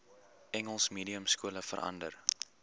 engels mediumskole verander